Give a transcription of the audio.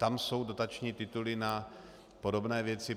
Tam jsou dotační tituly na podobné věci.